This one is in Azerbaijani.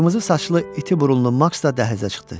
Qırmızı saçlı iti burunlu maks da dəhlizə çıxdı.